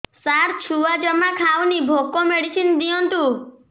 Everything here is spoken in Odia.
ସାର ଛୁଆ ଜମା ଖାଉନି ଭୋକ ମେଡିସିନ ଦିଅନ୍ତୁ